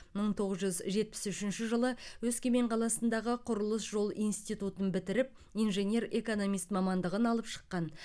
мың тоғыз жүз жетпіс үшінші жылы өскемен қаласындағы құрылыс жол институтын бітіріп инженер экономист мамандығын алып шыққан